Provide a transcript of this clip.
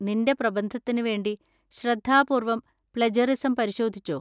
നിന്‍റെ പ്രബന്ധത്തിന് വേണ്ടി ശ്രദ്ധാപൂർവം പ്ലെജറിസം പരിശോധിച്ചോ?